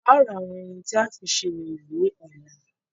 A ó ra àwọn ohun tí a ó fi ṣe orò ní ọ̀la.